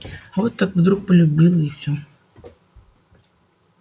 вот так вдруг полюбила и все